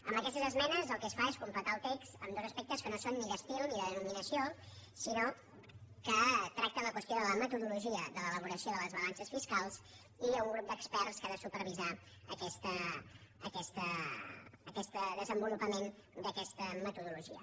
amb aquestes esmenes el que es fa és completar el text en dos aspectes que no són ni d’estil ni de denominació sinó que tracten la qüestió de la metodologia de l’elaboració de les balances fiscals i d’un grup d’experts que ha de supervisar aquest desenvolupament d’aquesta metodologia